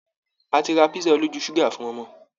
A ti ra písà olójú ṣúgà fún ọmọ